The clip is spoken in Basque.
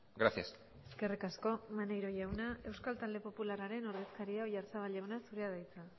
gracias eskerrik asko maneiro jauna euskal talde popularraren ordezkaria oyarzabal jauna zurea da hitza